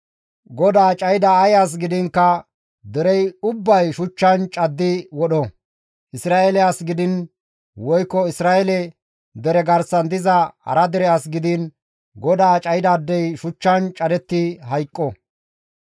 GODAA cayida ay as gidiinkka derey ubbay iza shuchchan caddi wodho; Isra7eele as gidiin woykko Isra7eele dere garsan diza hara dere as gidiin GODAA cayidaadey shuchchan cadetti hayqqo.